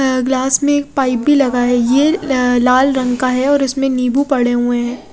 अ glass में एक pipe भी लगा है यह लाल रंग का है और इसमें निम्बू पड़े हुए है।